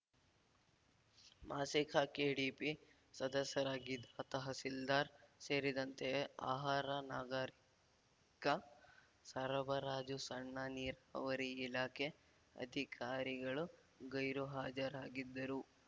ಮಾಸಿಕ ಕೆಡಿಪಿ ಸದಸ್ಯರಾಗಿದ್ದ ತಹಸೀಲ್ದಾರ್‌ ಸೇರಿದಂತೆ ಆಹಾರ ನಾಗರಿಕ ಸರಬರಾಜು ಸಣ್ಣ ನೀರಾವರಿ ಇಲಾಖೆ ಅಧಿಕಾರಿಗಳು ಗೈರುಹಾಜರಾಗಿದ್ದರು